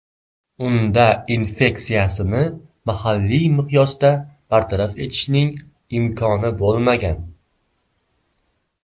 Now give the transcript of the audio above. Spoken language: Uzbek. Unda infeksiyasini mahalliy miqyosda bartaraf etishning imkoni bo‘lmagan.